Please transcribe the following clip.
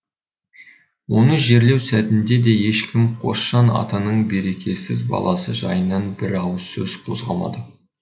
оны жерлеу сәтінде де ешкім қосжан атаның берекесіз баласы жайынан бір ауыз сөз қозғамады